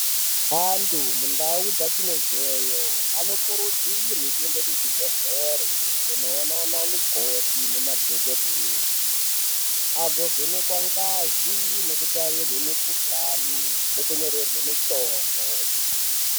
Antu mundau dzatinobveyo , anokurudzirwe kuende kuzvibhedhlere kunoona anamukoti nemadhokodheye, agovhenekwa ngazi nekutarirwe mikhuhlani, nekunyorerwe mitombo.